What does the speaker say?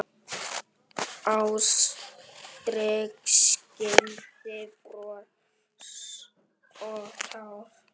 Ástrík skildir bros og tár.